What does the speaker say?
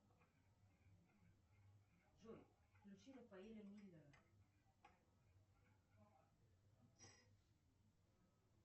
джой включи рафаэля миллера